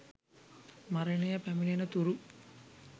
මරණය පැමිණෙන තුරු